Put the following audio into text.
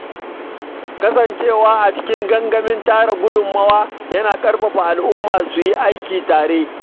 Kasancewa a cikin gangamin tara gudunmawa yana ƙarfafa al’umma su yi aiki tare.